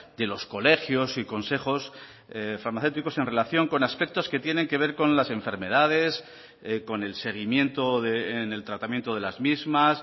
de los colegios y consejos farmacéuticos en relación con aspectos que tienen que ver con las enfermedades con el seguimiento en el tratamiento de las mismas